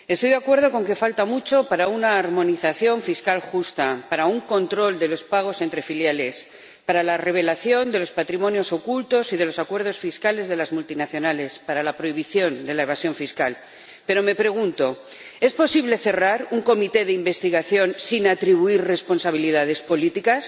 Estoy de acuerdo en que falta mucho para una armonización fiscal justa, para un control de los pagos entre filiales, para la revelación de los patrimonios ocultos y de los acuerdos fiscales de las multinacionales, para la prohibición de la evasión fiscal. Pero, me pregunto ¿es posible cerrar una comisión de investigación sin atribuir responsabilidades políticas?